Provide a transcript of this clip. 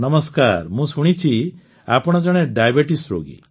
ନମସ୍କାର ମୁଁ ଶୁଣୁଛି ଆପଣ ଜଣେ ଡାଏବେଟିସ୍ ରୋଗୀ